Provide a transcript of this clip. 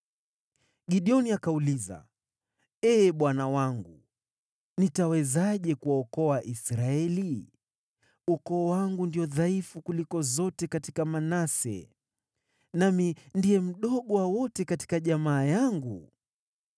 Gideoni akauliza, “Ee Bwana wangu, nitawezaje kuwaokoa Israeli? Ukoo wangu ndio dhaifu kuliko zote katika Manase, nami ndiye mdogo wa wote katika jamaa yangu.”